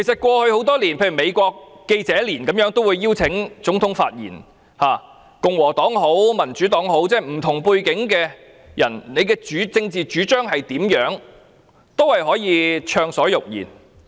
過去多年，美國記者年會都會邀請總統發言，無論是共和黨或民主黨的人，無論他們有何政治主張，均可暢所欲言。